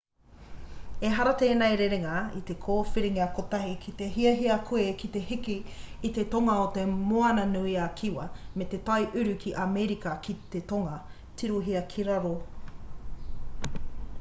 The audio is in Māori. ehara tēnei rerenga i te kōwhiringa kotahi ki te hiahia koe ki te hiki i te tonga o te moana nui a kiwa me te tai uru o amerika ki te tonga. tirohia ki raro